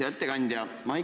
Hea ettekandja!